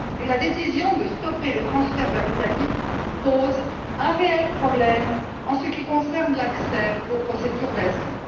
La décision de stopper les transferts vers l'Italie pose un réel problème en ce qui concerne l'accès aux procédures d'asile.